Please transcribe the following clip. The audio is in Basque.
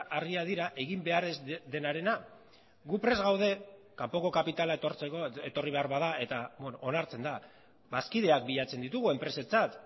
argia dira egin behar ez denarena gu prest gaude kanpoko kapitala etortzeko etorri behar bada eta onartzen da bazkideak bilatzen ditugu enpresatzat